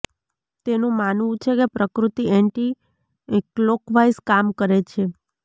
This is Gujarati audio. તેમનું માનવું છે કે પ્રકૃતિ એન્ટી ક્લોકવાઈઝ કામ કરે છે